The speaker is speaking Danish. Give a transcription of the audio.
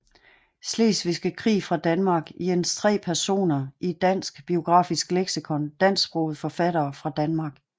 Slesvigske Krig fra Danmark Jens 3 Personer i Dansk Biografisk Leksikon Dansksprogede forfattere fra Danmark